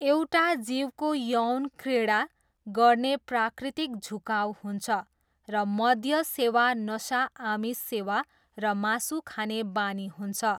एउटा जीवको यौनक्रीडा गर्ने प्राकृतिक झुकाउ हुन्छ र मद्य सेवा नसा आमिष सेवा र मासु खाने बानी हुन्छ।